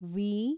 V